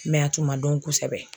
a tun ma dɔn kosɛbɛ.